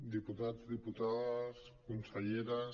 diputats diputades conselleres